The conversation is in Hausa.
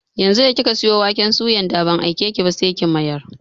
Yanzu da kika sayo waken suyan da ban aikeki ba, sai ki mayar!